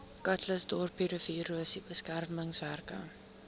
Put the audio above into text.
calitzdorp riviererosie beskermingswerke